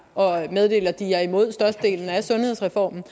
og meddelte at de er imod størstedelen af sundhedsreformen